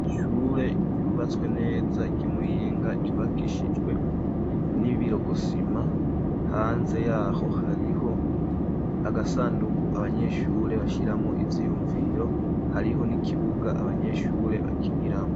iishure ryubatswe neza ry'imuyinga ryubakishijwe n'ibirogosima hanze yaho hariho agasandugu abanyeshure bashyiramo iziyumviro hariho n'ikibuga abanyeshure bakiniramo